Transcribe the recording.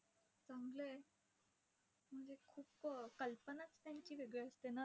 चांगलंय. म्हणजे खूप कल्पनाच त्यांची वेगळी असते ना!